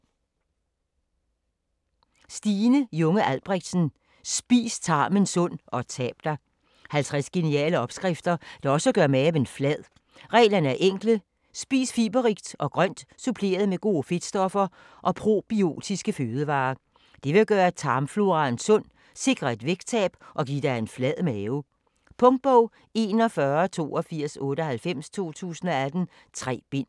Junge Albrechtsen, Stine: Spis tarmen sund - og tab dig 50 geniale opskrifter, der også gør maven flad. Reglerne er enkle: spis fiberrigt og grønt suppleret med gode fedtstoffer og probiotiske fødevarer. Det vil gøre tarmflora sund, sikre et vægttab og give en flad mave. Punktbog 418298 2018. 3 bind.